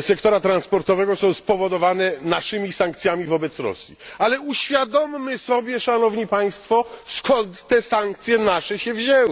sektora transportowego są spowodowane naszymi sankcjami wobec Rosji, ale uświadommy sobie, szanowni Państwo, skąd te nasze sankcje się wzięły.